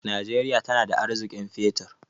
Najeriya tana da arziƙin fetur.